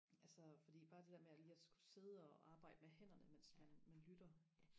altså fordi bare det der med at lige og skulle sidde og arbejde med hænderne mens man man lytter